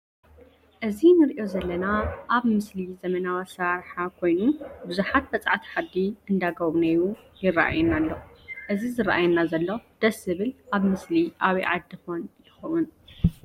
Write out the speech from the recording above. እዚ ንሪኦ ዘለና ኣብ ምስሊ ዘመናዊ ኣሰራርሓ ኮይኑ ቡዙሓት በፃሕቲ ዓዲ እንዳገብነዩ ይረአየና ኣሎ ። እዚ ዝረአየና ዘሎ ደስ ዝብል አብ ምስሊ ኣበይ ዓዲ ኮን ይኮን?